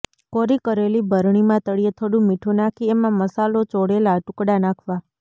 કોરી કરેલી બરણીમાં તળિયે થોડું મીઠુ નાખી એમાં મસાલો ચોળેલા ટુકડા નાખવા